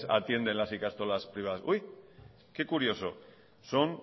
atienden las ikastolas privadas uy qué curioso son